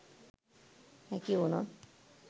හැකි වුණොත්